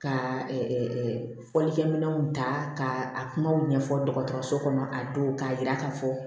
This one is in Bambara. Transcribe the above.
Ka fɔlikɛminɛnw ta k'a kumaw ɲɛfɔ dɔgɔtɔrɔso kɔnɔ k'a don k'a yira k'a fɔ